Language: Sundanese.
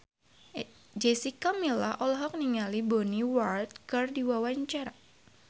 Jessica Milla olohok ningali Bonnie Wright keur diwawancara